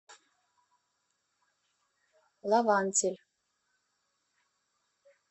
лавантель